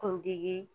Kuntigi